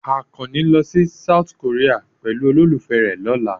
Àkànní ní lọ sí South Korea pẹ̀lú olólùfẹ́ rẹ̀ lọ́la.